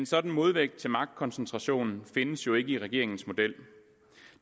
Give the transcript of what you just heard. sådan modvægt til magtkoncentration findes jo ikke i regeringens model